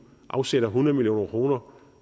afsætter hundrede million kroner